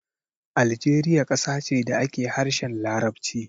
Aljeriya ƙasa ce da ake harshen Larabci.